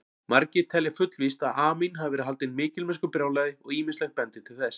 Margir telja fullvíst að Amín hafi verið haldinn mikilmennskubrjálæði og ýmislegt bendir til þess.